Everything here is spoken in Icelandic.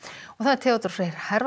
Theodór Freyr